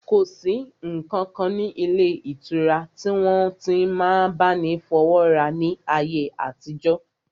Kò sí ǹkankan ilé ìtura tí wọ́n ti n máa bá ni fọwọ́wọ́ra ní ayé àtijọ́